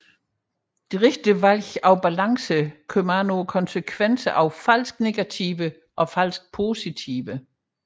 Det rette valg af balance kommer an på konsekvenserne af falske negativer og falske positiver